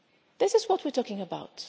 people. This is what we are talking